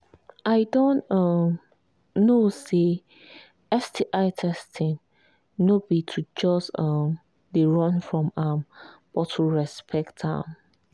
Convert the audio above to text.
i don um know say sti testing no be to just um they run from am but to respect am